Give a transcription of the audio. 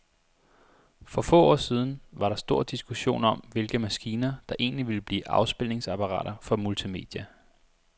For få år siden var der stor diskussion om, hvilke maskiner, der egentlig ville blive afspilningsapparater for multimedia.